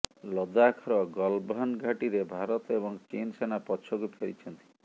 ଲଦାଖର ଗାଲଭାନ୍ ଘାଟିରେ ଭାରତ ଏବଂ ଚୀନ୍ ସେନା ପଛକୁ ଫେରିଛନ୍ତି